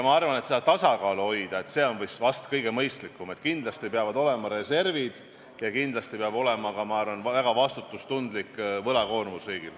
Ma arvan, et tasakaalu hoidmine nende vahel on vast kõige mõistlikum – kindlasti peavad riigil olema reservid ja kindlasti peab olema ka väga vastutustundlik võlakoormus.